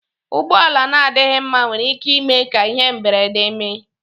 Ụgbọala na adịghị mma nwere ike ime ka ihe mberede mee.